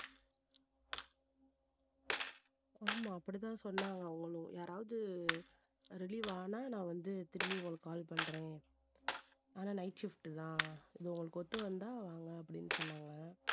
ஆமா அப்படித்தான் சொன்னாங்க அவங்களும் யாராவது relieve ஆனா நான் வந்து திரும்பி உங்களுக்கு call பண்றேன் ஆனா night shift தான் இது உங்களுக்கு ஒத்து வந்தா வாங்க அப்படின்னு சொன்னாங்க